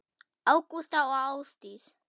Ágústa og Ásdís.